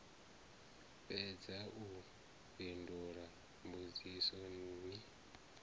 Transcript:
fhedza u fhindula mbudziso ni